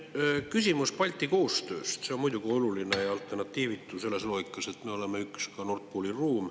Küsimus Balti koostööst on muidugi oluline ja alternatiivitu selles loogikas, et me oleme üks Nord Pooli ruum.